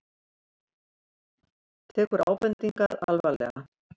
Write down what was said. Tekur ábendingarnar alvarlega